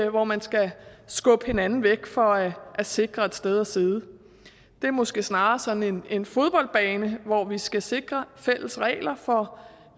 hvor man skal skubbe hinanden væk for at sikre et sted at sidde det er måske snarere sådan en fodboldbane hvor vi skal sikre fælles regler for